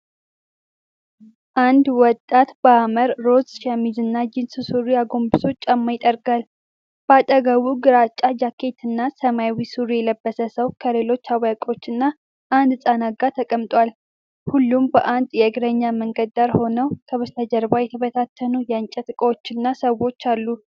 አንድ ወጣት በሐመር ሮዝ ሸሚዝና ጂንስ ሱሪ አጎንብሶ ጫማ ይጠርጋል። በአጠገቡ ግራጫ ጃኬትና ሰማያዊ ሱሪ የለበሰ ሰው ከሌሎች አዋቂዎችና አንድ ሕፃን ጋር ተቀምጧል። ሁሉም በአንድ የእግረኛ መንገድ ዳር ሆነው፣ ከበስተጀርባ የተበታተኑ የእንጨት ዕቃዎችና ሰዎች አሉ።